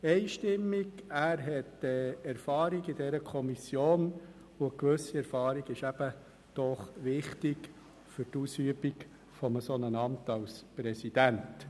Er hat Erfahrung in dieser Kommission, und eine gewisse Erfahrung ist wichtig für die Ausübung eines solchen Amts als Präsident.